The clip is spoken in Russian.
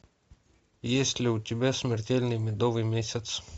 есть ли у тебя смертельный медовый месяц